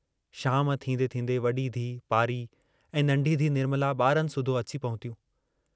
शाम थींदें थींदें वडी धीउ पारी ऐं नन्ढी धीउ निर्मला बारनि सूधो अची पहुतियूं।